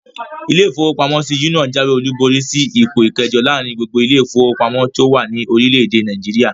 Ilé-ìfowópamọ́sí Union jáwé-olùborí sí ipò ikẹẹ̀jọ láàrin gbogbo ilé-ìfowópamọ́sí tó wà ní orílẹ̀-èdè Nàìjíríà